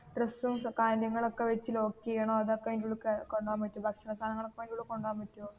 ഡ്രെസ്സും കാര്യങ്ങളും ഒക്കേ വെച്ച് ലോക്ക് ചെയ്യണോ അതൊക്കെ അയിന്റെ ഉള്ളിൽ കൊണ്ട് പോകാൻ പറ്റും ഭക്ഷണ സാധങ്ങൾ ഒക്കേ അതിൻ്റെ ഉള്ളിൽ കൊണ്ട് പോകാൻ പറ്റുവോ?